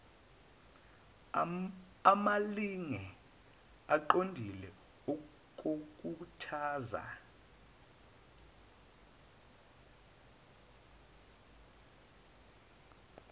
amalinge aqondile okukhuthaza